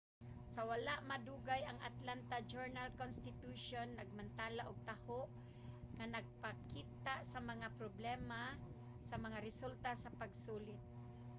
sa wala madugay ang atlanta journal-constitution nagmantala og taho nga nagapakita sa mga problema sa mga resulta sa pasulit